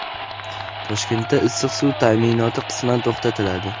Toshkentda issiq suv taʼminoti qisman to‘xtatiladi.